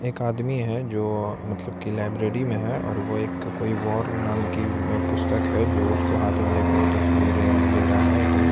एक आदमी हैं जो मतलब की लाइब्रेरी में हैं और वो एक कोई वॉर नाम की पुस्तक है जो उसको हाथ में लेके वो तस्वीरें ले रहा है अपना --